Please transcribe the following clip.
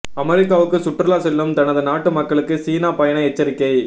அமெரிக்காவுக்கு சுற்றுலா செல்லும் தனது நாட்டு மக்களுக்கு சீனா பயண எச்சரிக்கை